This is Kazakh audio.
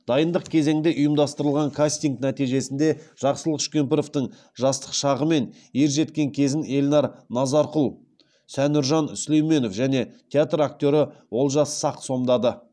дайындық кезеңде ұйымдастырылған кастинг нәтижесінде жақсылық үшкемпіровтің жастық шағы мен ер жеткен кезін эльнар назарқұл санүржан сүлейменов және театр актері олжас сақ сомдады